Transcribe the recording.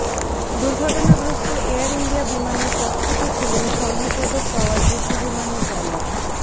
দুর্ঘটনাগ্রস্ত Air India বিমানের ককপিটে ছিলেন স্বর্ণ পদক পাওয়া যুদ্ধবিমানের পাইলট